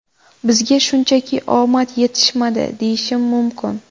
Bizga shunchaki omad yetishmadi, deyishim mumkin.